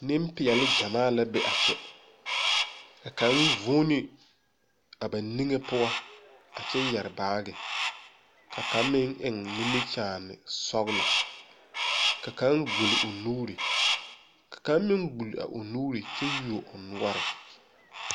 Neŋpeɛɛle gyamaa la be a kyɛ ka kaŋ vūūne a ba niŋe poɔ a kyɛ yɛre baagi ka kaŋ meŋ eŋ nimikyaane sɔglɔ ka kaŋ gbul o nuure ka kaŋ meŋ gbule a o nuure kyɛ yuo o noɔre.